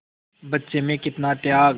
बच्चे में कितना त्याग